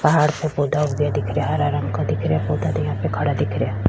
पहाड़ पे पौधा उगे दिख रया हरा रंग का दिख रिया पौधा यहाँ पे खड़ा दिख रिया।